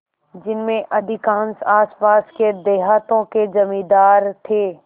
जिनमें अधिकांश आसपास के देहातों के जमींदार थे